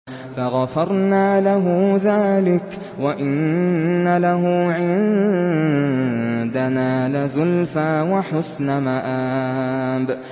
فَغَفَرْنَا لَهُ ذَٰلِكَ ۖ وَإِنَّ لَهُ عِندَنَا لَزُلْفَىٰ وَحُسْنَ مَآبٍ